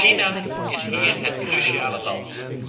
China is hier het cruciale land.